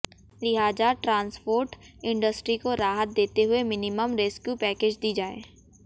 लिहाजा transport industry को राहत देते हुये मिनिमम रेस्क्यू पैकेज दी जाए